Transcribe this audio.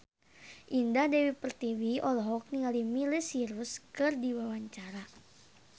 Indah Dewi Pertiwi olohok ningali Miley Cyrus keur diwawancara